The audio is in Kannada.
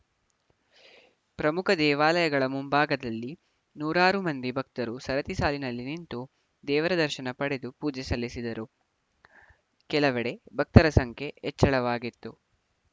ಪ್ರಮುಖ ದೇವಾಲಯಗಳ ಮುಂಭಾಗದಲ್ಲಿ ನೂರಾರು ಮಂದಿ ಭಕ್ತರು ಸರತಿ ಸಾಲಿನಲ್ಲಿ ನಿಂತು ದೇವರ ದರ್ಶನ ಪಡೆದು ಪೂಜೆ ಸಲ್ಲಿಸಿದರು ಕೆಲವೆಡೆ ಭಕ್ತರ ಸಂಖ್ಯೆ ಹೆಚ್ಚಳವಾಗಿತ್ತು